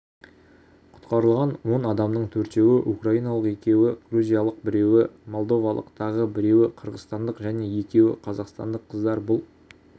құтқарылған он қадамның төртеуі украиналық екеуі грузиялық біреуі молдовалық тағы біреуіқырғызстандық және екеуі қазақстандық қыздар бұл